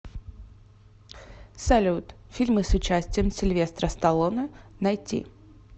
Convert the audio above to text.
салют фильмы с участием сильвестра сталлоне найти